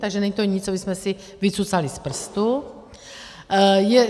Takže to není nic, co bychom si vycucali z prstu.